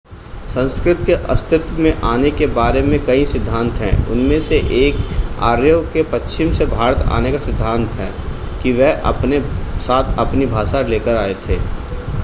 संस्कृत के अस्तित्व में आने के बारे में कई सिद्धांत हैं उनमें से एक आर्यों के पश्चिम से भारत आने का सिद्धांत है कि वह अपने साथ अपनी भाषा लेकर आए थे